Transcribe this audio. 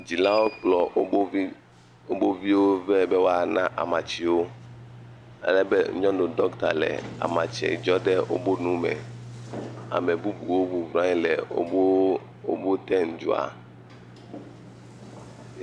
Dzilawo kplɔ wova viwo vɛ be woana amatsiwo, ye anyɔnu dɔkta le amatsie dzɔ ɖe wobe nu me, ame bubuwo bɔbɔ nɔ anyi le wobe ten dzɔa.